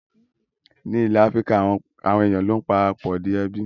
Ní ilẹ̀ Áfíríkà, àwọn èèyàn ló ń para pọ̀ di ẹbí